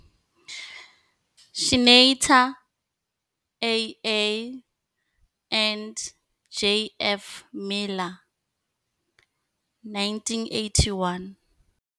Schneiter, A.A, and J.F. Miller. 1981.